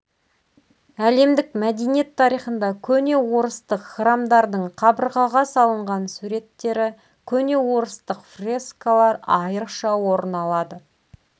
әлемдік мәдениет тарихында көне орыстық храмдардың қабырғаға салынған суреттері көне орыстық фрескалар айрықша орын алады